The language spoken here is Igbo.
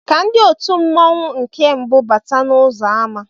Ka ndị òtù mmanwu nke mbu bátá n'uzọ àmá